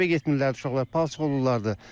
Məktəbə getmirlərdi uşaqlar, palçıq olurlardı.